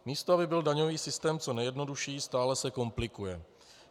Místo aby byl daňový systém co nejjednodušší, stále se komplikuje.